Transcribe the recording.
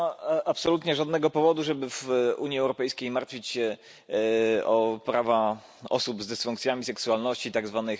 Nie ma absolutnie żadnego powodu, żeby w Unii Europejskiej martwić się o prawa osób z dysfunkcjami seksualności tzw.